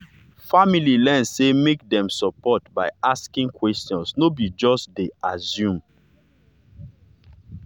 family learn say make dem support by asking questions no be just to dey assume.